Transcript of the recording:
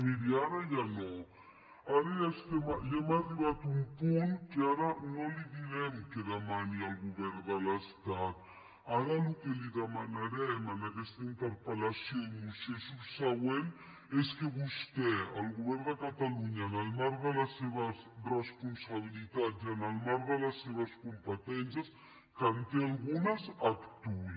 miri ara ja no ara ja hem arribat a un punt en què ara no li direm que demani al govern de l’estat ara el que li demanarem amb aquesta interpel·lació i moció subsegüent és que vostè el govern de catalunya en el marc de les seves responsabilitats i en el marc de les seves competències que en té algunes actuï